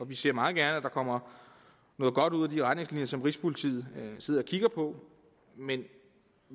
vi ser meget gerne at der kommer noget godt ud af de retningslinjer som rigspolitiet sidder og kigger på men